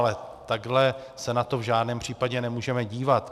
Ale takhle se na to v žádném případě nemůžeme dívat.